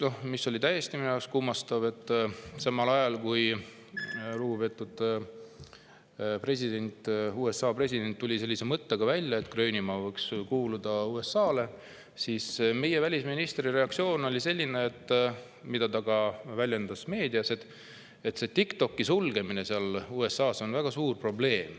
Minu jaoks oli täiesti kummastav, et samal ajal, kui lugupeetud USA president tuli välja sellise mõttega, et Gröönimaa võiks kuuluda USA-le, oli meie välisministri reaktsioon, mida ta väljendas ka meedias, selline: TikToki sulgemine on USA-s väga suur probleem.